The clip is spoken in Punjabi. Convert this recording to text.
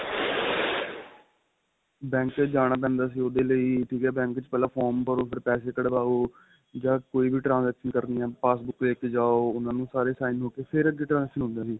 banks ਵਿੱਚ ਜਾਣਾ ਪੈਂਦਾ ਸੀ ਉਹਦੇ ਲਈ ਪਹਿਲਾਂ form ਭਰੋ ਫੇਰ ਪੈਸੇ ਕਡਵਾਉ ਜਾਂ ਕੋਈ ਵੀ transaction ਕਰਨੀ ਏ passbook ਪਾਗੇ ਤੇ ਜਾਉ ਉਹਨਾ ਨੂੰ ਸਾਰੇ sign ਹੋ ਕੇ ਫੇਰ ਅੱਗੇ transaction ਹੁੰਦੇ ਸੀ